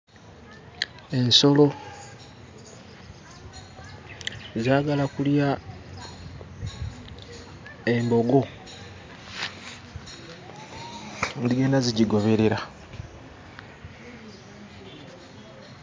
Ensolo zaagala kulya embogo; zigenda zigigoberera.